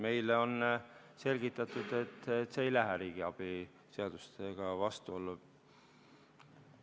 Meile on selgitatud, et see ei lähe riigiabi reeglitega vastuollu.